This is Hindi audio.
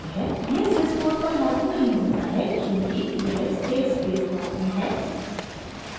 यह sys 4 पर लागू नहीं होता है क्योंकि यह स्टेट स्पेस फॉर्म में है